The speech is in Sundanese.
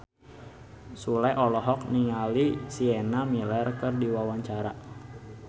Sule olohok ningali Sienna Miller keur diwawancara